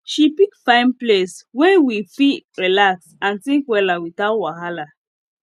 she pick fine place wey we fit relax and think wella without wahala